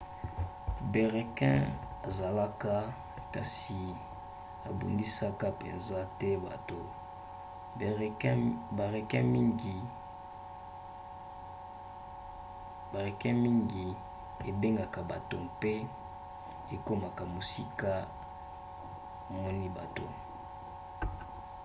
barequins ezalaka kasi ebundisaka mpenza te bato. barequin mingi ebangaka bato mpe ekimaka soki emoni bato